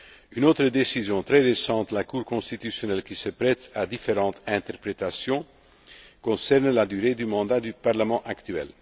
mois de février. Une autre décision très récente de la Cour constitutionnelle qui se prête à différentes interprétations concerne la durée du mandat du